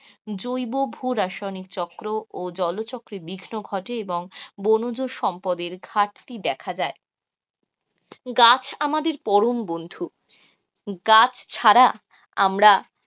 জৈবভুরাসায়নিক চক্র ও জল চক্রের বিঘ্ন ঘটে এবং বনজ সম্পদের ঘাটতি দেখা যায়. গাছ আমাদের পরম বন্ধু, গাছ ছাড়া আমরা,